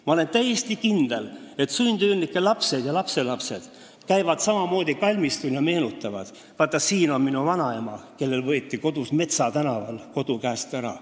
Ma olen täiesti kindel, et sundüürnike lapsed ja lapselapsed käivad kalmistul ja meenutavad: näe, siin on minu vanaema, kellelt võeti tema Metsa tänava kodu käest ära.